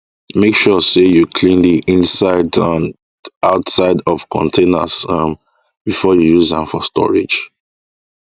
make sure say you clean the inside um and outside of containers um before you use am for storage